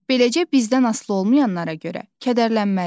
Beləcə, bizdən asılı olmayanlara görə kədərlənmərik.